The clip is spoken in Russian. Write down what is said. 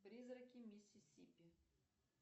призраки миссисипи